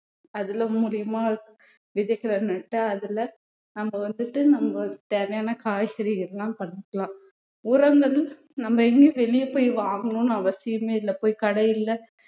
அதுல மூலியமா விதைகள் நட்டு அதுல நம்ம வந்துட்டு நம்மளுக்கு தேவையான காய்கறி இதெல்லாம் பண்ணிக்கலாம் உரங்கள் நம்ம எங்கயும் வெளிய போய் வாங்கணும்ன்னு அவசியமே இல்லை போய் கடைல